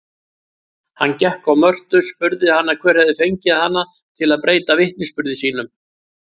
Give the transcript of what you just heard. Hann gekk á Mörtu, spurði hana hver hefði fengið hana til að breyta vitnisburði sínum.